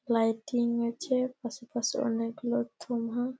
Lighting আছে পাশে পাশে অনেকগুলো ।